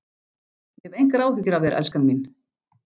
Ég hef engar áhyggjur af þér, elskan mín.